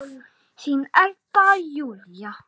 Þín Edda Júlía.